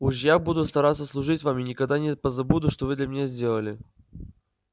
уж я буду стараться служить вам и никогда не позабуду что вы для меня сделали